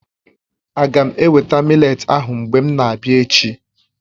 Aga m eweta mị́letí ahụ mgbe m na-abịa echi?